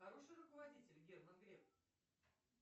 хороший руководитель герман греф